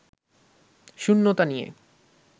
শূন্যতা নিয়ে